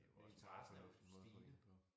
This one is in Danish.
Det jo også en meget fornuftig måde at få det på